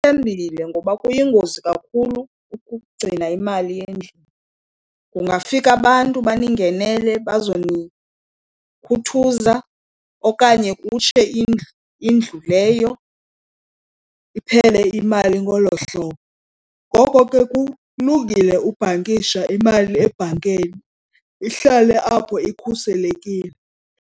ngoba kuyingozi kakhulu ukugcina imali endlini. Kungafika abantu baningenele bazonikhuthaza okanye kutshe indlu leyo, iphele imali ngolo hlobo. Ngoko ke kulungile ubhankisha imali ebhankeni, ihlale apho ikhuselekile.